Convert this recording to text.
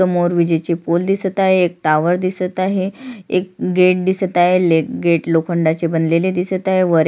समोर विजेचे पोल दिसत आहे एक टॉवर दिसत आहे एक गेट दिसत आहे गेट लोखंडाचे बनलेले दिसत आहे वर--